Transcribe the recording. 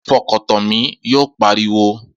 Fọkàn tán mi! Yóò pariwo